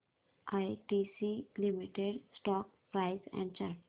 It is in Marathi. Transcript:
ITC limited stock price and chart